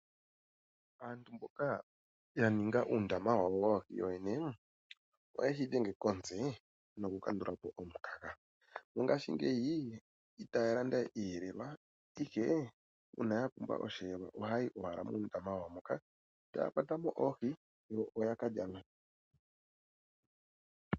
Aantu mboka yaninga uundama wawo woohii wowene, oyeshi dhenge komutse noku kandulapo omukaga, mongashi ngeyi itaya landawe iiyelelwa ashike una yapumbwa oshelelwa ohayayi owala muundama wawo moka etakwatamo oohii yo oya kalya ngawo.